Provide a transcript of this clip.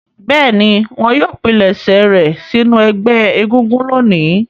Bẹ́ẹ̀ni, wọn yóò pilẹ̀sẹ̀ rẹ̀ sínú ẹgbẹ́ egúngún lónìí.